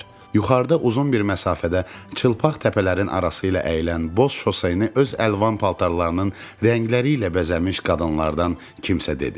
Yuxarıda uzun bir məsafədə çılpaq təpələrin arası ilə əyilən boz şoseyni öz əlvan paltarlarının rəngləri ilə bəzənmiş qadınlardan kimsə dedi.